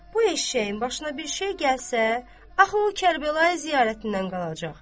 Bu eşşəyin başına bir şey gəlsə, axı o Kərbəlayı ziyarətindən qalacaq.